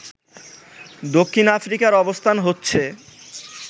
দক্ষিণ আফ্রিকার অবস্থান হচ্ছে